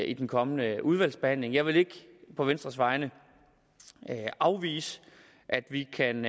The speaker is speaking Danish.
i den kommende udvalgsbehandling jeg vil ikke på venstres vegne afvise at vi kan